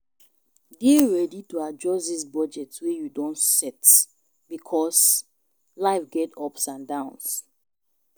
Dey ready to adjust di budget wey you don set because life get ups and downs